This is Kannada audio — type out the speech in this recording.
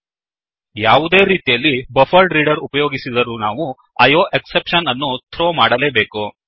ಯಾವುದೇ ರೀತಿಯಲ್ಲಿ ಬಫರೆಡ್ರೀಡರ್ ಬಫ್ಫರ್ಡ್ ರೀಡರ್ ಉಪಯೋಗಿಸಿದರೂ ನಾವು IOExceptionಐಓಎಕ್ಸೆಪ್ಷನ್ ಅನ್ನು ಥ್ರೋ ಥ್ರೋ ಮಾಡಬೇಕು